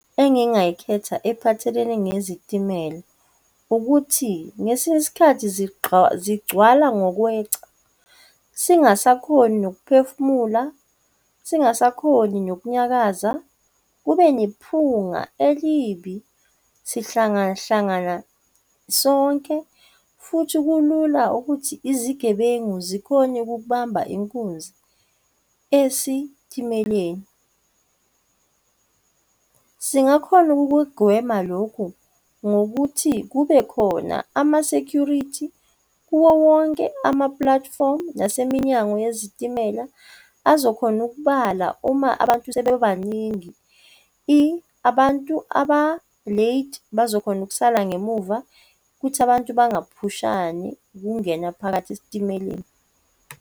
Nkinga engiyikhetha ephathelene nezitimela ukuthi ngesinye isikhathi zigcwala ngokweca, singasakhoni nokuphefumula, singasakhoni nokunyakaza, kube nephunga elibi, sihlangahlangana sonke futhi kulula ukuthi izigebengu zikhona ukukubamba inkunzi esitimeleni. Singakhona ukukugwema lokhu ngokuthi kubekhona ama-security kuwo wonke ama-platform naseminyango yezitimela azokhona ukubala uma abantu sebebaningi. Abantu aba-late bazokhona ukusala ngemuva ukuthi abantu bangaphushani ukungena phakathi esitimeleni.